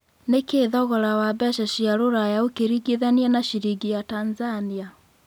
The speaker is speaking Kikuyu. nĩ kĩĩ thogora wa mbeca cia rũraya ũkĩrĩgithania na ciringi ya Tanzania